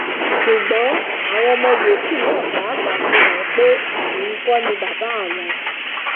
ṣùgbọn àwọn ọmọ yòókù náà pàápàá fi hàn án pé òun kò ní bàbá àwọn